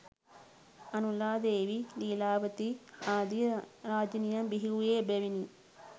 අනුලා දේවී, ලීලාවතී ආදී රාජණියන් බිහිවූයේ එබැවිනි.